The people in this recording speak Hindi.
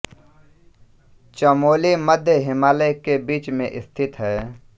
चमोली मध्य हिमालय के बीच में स्थित है